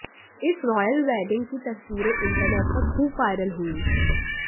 इस royal wedding की तस्वीरें इंटरनेट पर खूब वायरल हुईं